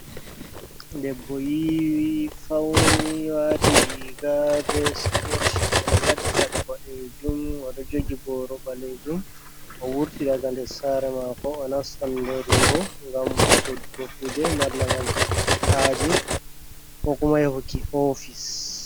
Debbo yiwi fauni wati riga be siket, oɗo faɗi paɗe boɗejum oɗo jogi boro ɓalejum, o wurti daga nder sare mako onastan nder wurou ngam soddo kuje malla ngam huɓuki haje ko kuma yahuki ofisko.